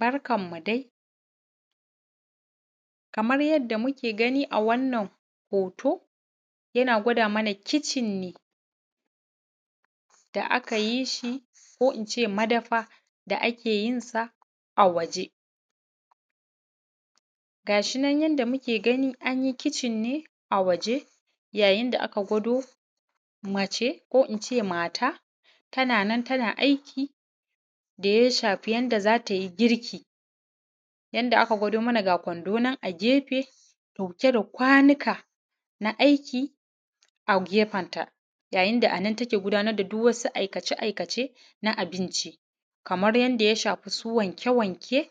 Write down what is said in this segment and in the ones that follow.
Barkanmu dai, kamar yadda muke gani a wannan hooto yana gwada mana kicin ne da aka yi shi ko ince madafa da ake yin sa a waje. Ga shinan yanda muke gani anyi kicin ne a waje yayin da aka gwado mace ko ince maata tana nan tana aiki da ya shafi yanda za ta yi girki, yanda aka gwado mana ga kwando nan a gefe ɗauke da kwanuka na aiki a gefenta yayin da anan take gudaanar da duk wasu aikace-aikace na abinci kamar yanda ya shafi su wanke-wanke,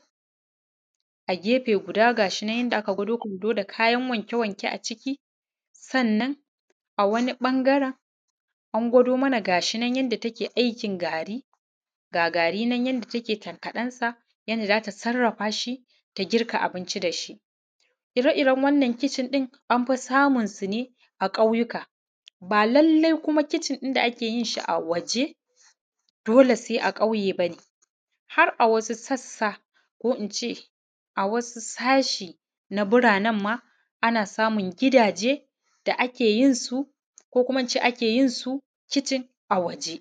a gefe guda ga shi nan yanda aka gwado kwando da kayan wanke-wanke aciki, sannan a wani ɓangaren an gwado mana ga shi nan yanda take aikin gaari, ga gaari nan yanda take tankaɗensa yanda za ta sarrafa shi ta girka abinci da shi, ire-iren wannan kicin ɗin anfi samunsu ne a ƙauyuka baa lallai kuma kicin ɗin da ake yin shi a waje dole sai a ƙauye bane, har a wasu sassa ko ince a wasu sashe na biraanenma ana samun gidaaje da ake yin su ko kuma ince ake yin su kicin a waje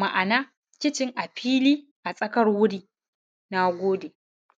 ma’ana kicin a fili a tsakar wuri, naagode